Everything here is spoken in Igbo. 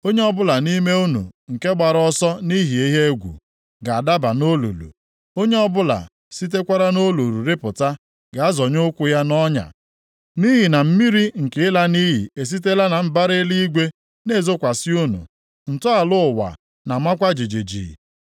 Onye ọbụla nʼime unu nke gbara ọsọ nʼihi ihe egwu ga-adaba nʼolulu; onye ọbụla sitekwara nʼolulu rịpụta ga-azọnye ụkwụ ya nʼọnya. Nʼihi na mmiri nke ịla nʼiyi esitela na mbara eluigwe na-ezokwasị unu. Ntọala ụwa na-amakwa jijiji.